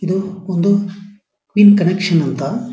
ಇದು ಒಂದು pin connection ಅಂತ --